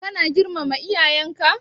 Ka na girmama iyayenka?